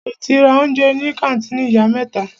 Ṣe o ti ra oúnjẹ ní kàńtìnì Ìyá mẹ́ta?